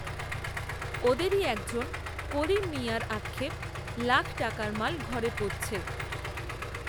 ওঁদেরই এক জন, করিম মিঞার, আক্ষেপ, লাখ টাকার মাল, ঘরে পচছে